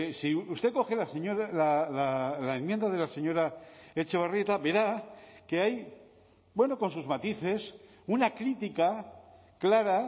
si usted coge la enmienda de la señora etxebarrieta verá que hay bueno con sus matices una crítica clara